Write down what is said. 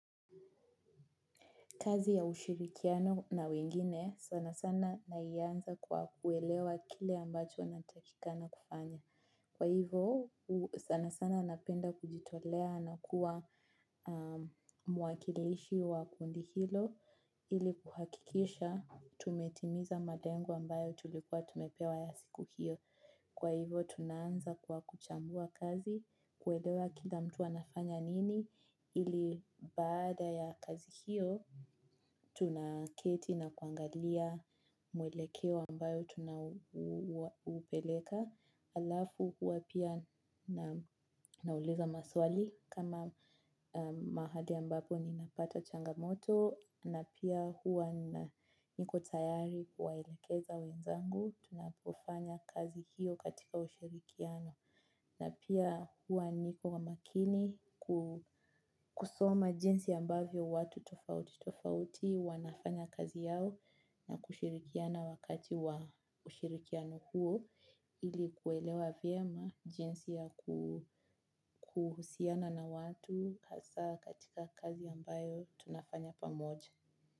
Kazi ya ushirikiano na wengine, sana sana naianza kwa kuelewa kile ambacho natakikana kufanya. Kwa hivo, sana sana napenda kujitolea na kuwa muwakilishi wa kundi hilo ili kuhakikisha tumetimiza malengo ambayo tulikuwa tumepewa ya siku hiyo. Kwa hivo tunaanza kwa kuchambua kazi, kuelewa kila mtu anafanya nini, ili baada ya kazi hiyo tunaketi na kuangalia mwelekeo ambayo tunaupeleka. Alafu hua pia nauliza maswali kama mahali ambapo ninapata changamoto na pia hua niko tayari kuwaelekeza wenzangu tunapofanya kazi hiyo katika ushirikiano na pia hua niko wa makini kusoma jinsi ambavyo watu tofauti tofauti wanafanya kazi yao na kushirikiana wakati wa ushirikiano huo ili kuelewa vyema jinsi ya kuhusiana na watu hasaa katika kazi ambayo tunafanya pamoja.